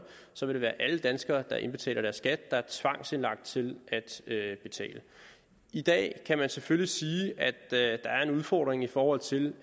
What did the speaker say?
så vil det alle danskere der indbetaler deres skat der er tvangsindlagt til at betale i dag kan man selvfølgelig sige at der er en udfordring i forhold til